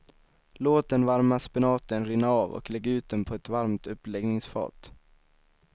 Låt den varma spenaten rinna av och lägg ut den på ett varmt uppläggningsfat.